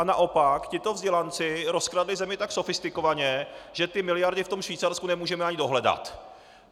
A naopak tito vzdělanci rozkradli zemi tak sofistikovaně, že ty miliardy v tom Švýcarsku nemůžeme ani dohledat!